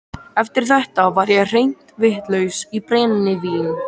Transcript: Eftir þetta var ég hreint vitlaus í brennivín.